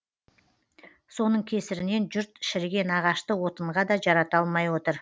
соның кесірінен жұрт шіріген ағашты отынға да жарата алмай отыр